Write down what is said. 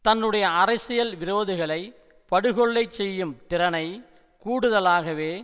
தன்னுடைய அரசியல் விரோதிகளை படுகொல்லைச் செய்யும் திறனை கூடுதலாகவே